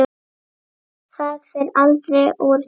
Það fer aldrei úr tísku.